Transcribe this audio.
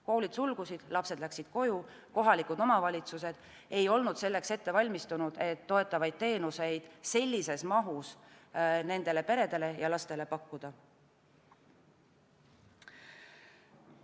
Koolid sulgusid, lapsed läksid koju, kohalikud omavalitsused ei olnud selleks valmistunud, et toetavaid teenuseid sellises mahus nendele peredele ja lastele pakkuda.